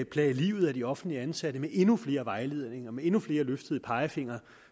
plage livet af de offentligt ansatte med endnu flere vejledninger med endnu flere løftede pegefingre